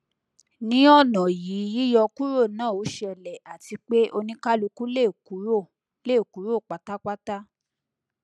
ni ọna yii yiyọ kuro na o sele ati pe onikaluku le kuro le kuro patapata